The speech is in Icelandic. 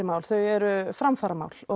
mál þau eru framfaramál